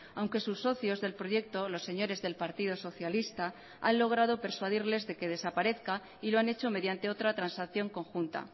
aunque sus socios del proyecto los señores del partido socialista han logrado persuadirles de que desaparezca y lo han hecho mediante otra transacción conjunta